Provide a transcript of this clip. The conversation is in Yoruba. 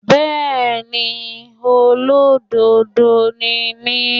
Bẹ́ẹ̀ni, Olódodo ni mí.